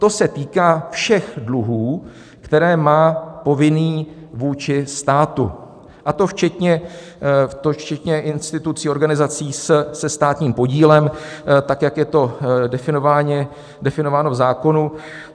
To se týká všech dluhů, které má povinný vůči státu, a to včetně institucí, organizací se státním podílem, tak jak je to definováno v zákonu.